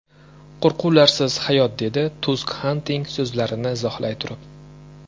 Qo‘rquvsiz hayot”, dedi Tusk Xantning so‘zlarini izohlay turib.